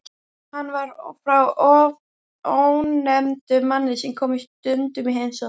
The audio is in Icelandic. Hann var frá ónefndum manni sem kom stundum í heimsókn.